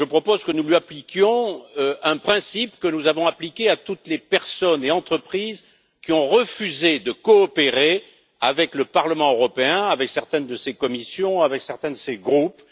Je propose que nous lui appliquions un principe que nous avons appliqué à toutes les personnes et entreprises qui ont refusé de coopérer avec le Parlement européen, avec certaines de ses commissions et certains de ses groupes.